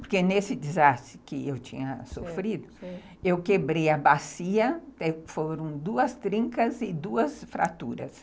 Porque nesse desastre que eu tinha sofrido, eu quebrei a bacia, foram duas trincas e duas fraturas.